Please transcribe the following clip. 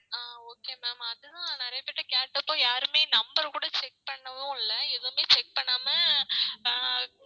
ஆஹ் okay ma'am அதுதான் நெறைய பேர்ட்ட கேட்ட அப்போ யாருமே number கூட check பண்ணவும் இல்ல எதுமே check பண்ணாம ஆஹ்